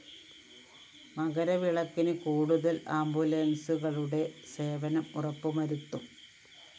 മകരവിളക്കിന് കൂടുതല്‍ ആംബുലന്‍സുകളുടെ സേവനം ഉറപ്പുവരുത്തും